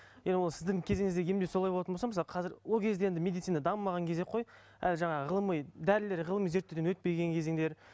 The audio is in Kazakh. енді ол сіздің кезіңізде емдеу солай болатын болса мысалы қазір ол кезде енді медицина дамымаған кезек қой әлі жаңағы ғылыми дәрілер ғылыми зерттеуден өтпеген кезеңдер